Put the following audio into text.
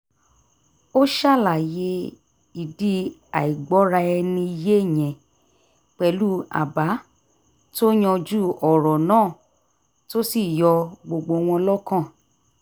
ó ṣàlàyé ìdí àìgbọ́ra-ẹni-yé yẹn pẹ̀lú àbá tó yanjú ọ̀rọ̀ náà tó sì yọ gbogbo wọn lọ́kàn